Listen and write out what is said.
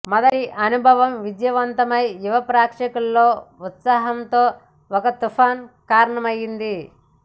మొదటి అనుభవం విజయవంతమై యువ ప్రేక్షకులలో ఉత్సాహంతో ఒక తుఫాను కారణమైంది